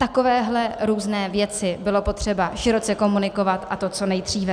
Takovéhle různé věci bylo potřeba široce komunikovat, a to co nejdříve.